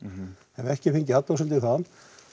hef ekki fengið athugasemdir þaðan